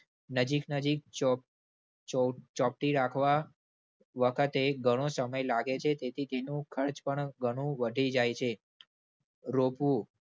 નજીક નજીક ચોચોંપટી રાખવા વખતે ઘણો સમય લાગે છે. તેથી તેનું ખર્ચ પણ ઘણું વધી જાય છે. રોપવું.